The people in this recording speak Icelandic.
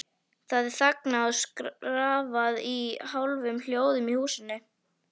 Það er þagað og skrafað í hálfum hljóðum í húsunum.